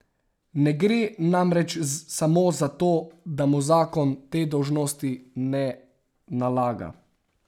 Ne gre namreč samo za to, da mu zakon te dolžnosti ne nalaga.